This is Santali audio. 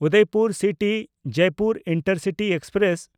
Udaipur City-Jaipur intercity express